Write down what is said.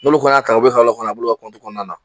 N'olu fana y'a kalan a b'olu ka kɔnɔna na.